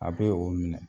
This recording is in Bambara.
A bɛ o minɛ